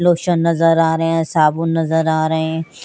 Lotion नज़र आरहे है साबुन नज़र आरहे है।